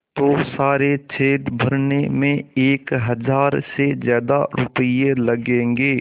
तो सारे छेद भरने में एक हज़ार से ज़्यादा रुपये लगेंगे